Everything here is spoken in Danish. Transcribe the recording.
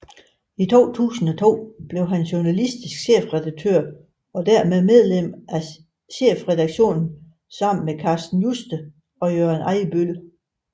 I 2002 blev han journalistisk chefredaktør og dermed medlem af chefredaktionen sammen med Carsten Juste og Jørgen Ejbøl